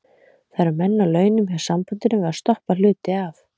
Það eru menn á launum hjá sambandinu við að stoppa hluti af.